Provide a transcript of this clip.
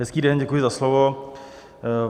Hezký den, děkuji za slovo.